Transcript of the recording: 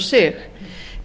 sig